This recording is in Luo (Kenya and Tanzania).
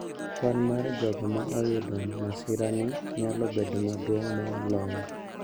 Kwan mar jogo ma oyudo masirani nyalo bedo maduong` moloyo